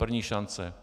První šance.